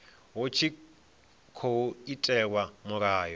hu tshi tkhou itelwa mulayo